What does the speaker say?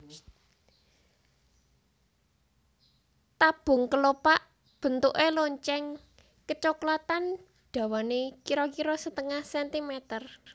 Tabung kelopak bentuke lonceng kecoklatan dhawané kira kira setengah centimeter